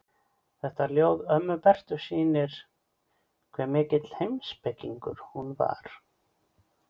Þetta ljóð ömmu Bertu sýnir hve mikill heimspekingur hún var.